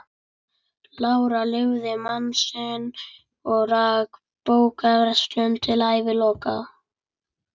Lára lifði mann sinn og rak bókaverslun til æviloka.